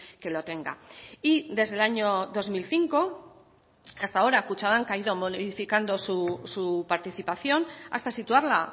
que lo tenga y desde el año dos mil cinco hasta ahora kutxabank ha ido modificando su participación hasta situarla